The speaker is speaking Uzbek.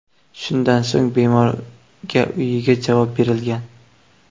Shundan so‘ng bemorga uyiga javob berilgan.